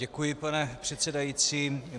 Děkuji, pane předsedající.